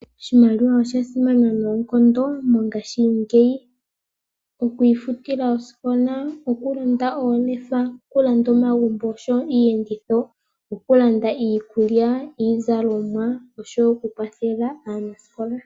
Oshimaliwa oshasimana noonkondo mongashingeyi okwiifutila oosikola, okulonda oolefa, okulanda omagumbo osho wo iiyenditho noku landa iikulya osho wo iizalomwa nosho wo okukwathela aanasikola.